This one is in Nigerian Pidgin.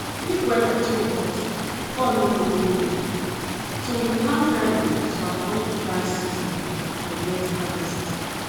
if weather too hot corn no go grow well so we plant early to avoid dry season and get harvest